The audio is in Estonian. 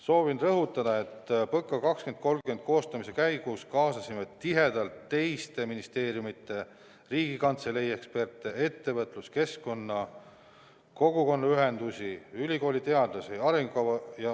Soovin rõhutada, et PõKa 2030 koostamise käigus kaasasime tihedalt teiste ministeeriumide ja Riigikantselei eksperte, ettevõtluskeskkonna esindajaid, kogukonnaühendusi, ülikooliteadlasi.